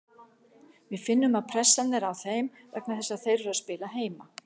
Við finnum að pressan er á þeim vegna þess að þeir eru að spila heima.